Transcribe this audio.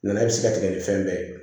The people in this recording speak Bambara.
Nana e bɛ se ka tigɛ ni fɛn bɛɛ ye